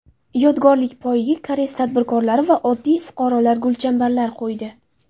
Yodgorlik poyiga koreys tadbirkorlari va oddiy fuqarolar gulchambarlar qo‘ydi.